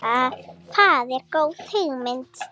Það er góð hugmynd.